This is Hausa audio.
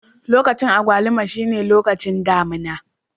Lokacin agwaluma shine lokacin damina.